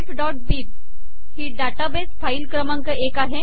refबिब ही database file क्रमांक एक आहे